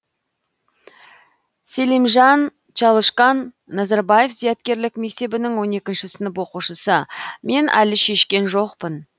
селимжан чалышкан назарбаев зияткерлік мектебінің он екінші сынып оқушысы мен әлі шешкен жоқпын